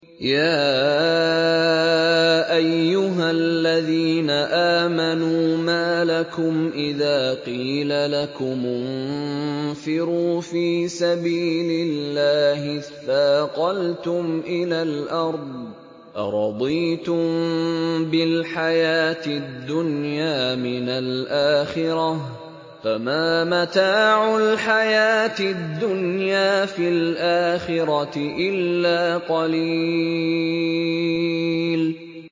يَا أَيُّهَا الَّذِينَ آمَنُوا مَا لَكُمْ إِذَا قِيلَ لَكُمُ انفِرُوا فِي سَبِيلِ اللَّهِ اثَّاقَلْتُمْ إِلَى الْأَرْضِ ۚ أَرَضِيتُم بِالْحَيَاةِ الدُّنْيَا مِنَ الْآخِرَةِ ۚ فَمَا مَتَاعُ الْحَيَاةِ الدُّنْيَا فِي الْآخِرَةِ إِلَّا قَلِيلٌ